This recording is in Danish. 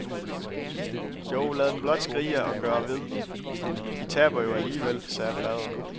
Jo, lad dem blot skrige og gøre ved, de taber jo alligevel, sagde faderen.